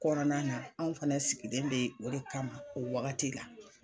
Kɔnɔna na anw fana sigilen bɛ o de kama o wagati la.